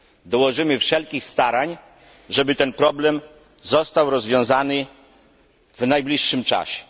Dołożymy wszelkich starań, żeby ten problem został rozwiązany w najbliższym czasie.